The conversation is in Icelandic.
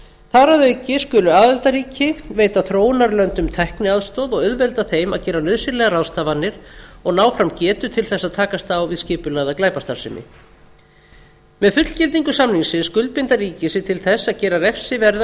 þar að auki skulu aðildarríki veita þróunarlöndum tækniaðstoð og auðvelda þeim að gera nauðsynlegar ráðstafanir og ná fram getu til þess að takast á við skipulagða glæpastarfsemi með fullgildingu samningsins skuldbinda ríki sig til þess að gera refsiverða